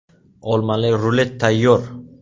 Olmali rulet tayyor.